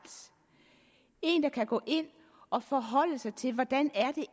en der kan gå ind og forholde sig til hvordan det